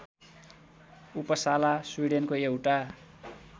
Uppsala स्विडेनको एउटा